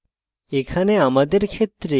এখানে আমাদের ক্ষেত্রে